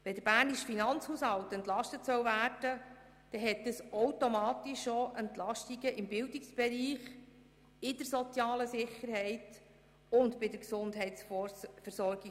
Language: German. Wenn der bernische Finanzhaushalt entlastet werden soll, ergeben sich automatisch auch Belastungen im Bildungsbereich, der sozialen Sicherheit und der Gesundheitsversorgung.